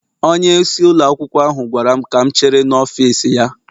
Onyeisi ụlọ akwụkwọ ahụ gwara m ka m chere n'ọfịs ya